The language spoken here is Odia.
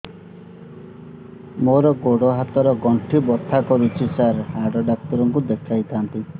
ମୋର ଗୋଡ ହାତ ର ଗଣ୍ଠି ବଥା କରୁଛି ସାର ହାଡ଼ ଡାକ୍ତର ଙ୍କୁ ଦେଖାଇ ଥାନ୍ତି